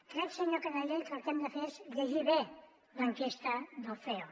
crec senyor canadell que el que hem de fer és llegir bé l’enquesta del ceo